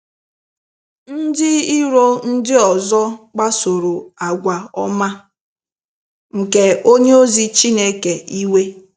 Ndị iro ndị ọzọ kpasoro àgwà ọma nke onye ozi Chineke iwe.